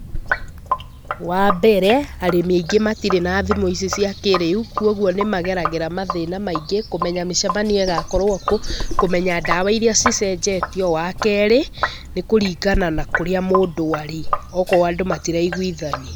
Wa mbere, arĩmi aingĩ matirĩ na thimũ ici cia kĩrĩu, kuoguo nĩ mageragĩra mathĩna maingi, kũmenya mĩcemanio igakorwo kũ, kũmenya ndawa iria cicenjetio. Wa keerĩ, nĩ kũringana na kũrĩa mũndũ arĩ. Okorwo andũ matiraiguithania.